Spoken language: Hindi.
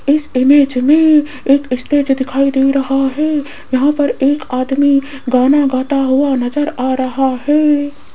इस इमेज में एक स्टेज दिखाई दे रहा है यहां पर एक आदमी गाना गाता हुआ नजर आ रहा है।